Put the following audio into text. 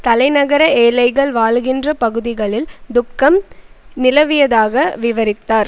தலைநகர ஏழைகள் வாழுகின்ற பகுதிகளில் துக்கம் நிலவியதாக விவரித்தார்